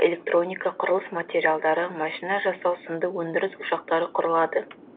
электроника құрылыс материалдары машина жасау сынды өндіріс ошақтары құрылады